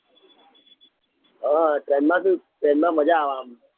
હા train માં બી train માં મજા આમ આમ